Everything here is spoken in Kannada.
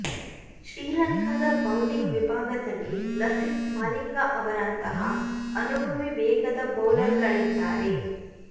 ಶ್ರೀಲಂಕಾದ ಬೌಲಿಂಗ್ ವಿಭಾಗದಲ್ಲಿ ಲಸಿತ್ ಮಾಲಿಂಗ ಅವರಂತಹ ಅನುಭವಿ ವೇಗದ ಬೌಲರ್ಗಳಿದ್ದಾರೆ